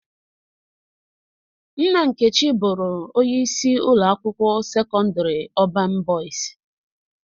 Nna Nkechi bụrụ onye isi ụlọ akwụkwọ sekọndrị Ọbañ Bọyis